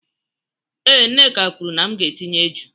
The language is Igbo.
Ee, Nneka kwuru na m ga-etinye eju